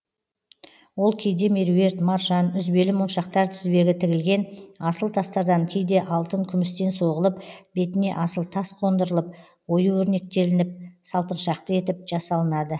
ол кейде меруерт маржан үзбелі моншақтар тізбегі тігілген асыл тастардан кейде алтын күмістен соғылып бетіне асыл тас қондырылып ою өрнектелініп салпыншақты етіп жасалынады